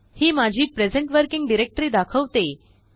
हि माझीप्रेसेंट working directory दाखवते